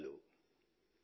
ధన్యవాదాలు